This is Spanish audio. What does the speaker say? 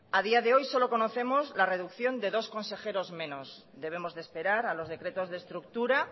a día de hoy solo conocemos la reducción de dos consejeros menos debemos de esperar a los decretos de estructura